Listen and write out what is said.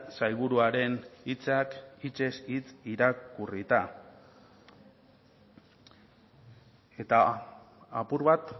sailburuaren hitzak hitzez hitz irakurrita eta apur bat